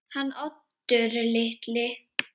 Hann Oddur litli?